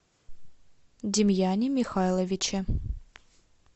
демьяне михайловиче